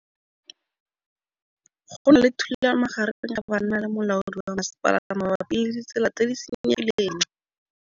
Go na le thulanô magareng ga banna le molaodi wa masepala mabapi le ditsela tse di senyegileng.